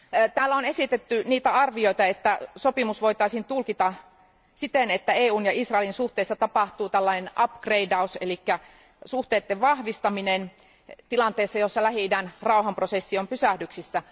Täällä on esitetty arvioita, että sopimus voitaisiin tulkita siten, että EUn ja Israelin suhteessa tapahtuu upgradaus eli suhteiden vahvistaminen tilanteessa, jossa Lähi idän rauhanprosessi on pysähdyksissä.